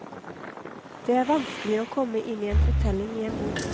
Det er vanskelig å komme inn i en fortelling i en bok.